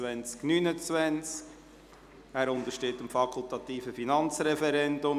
Dieser Rahmenkredit untersteht dem fakultativen Finanzreferendum.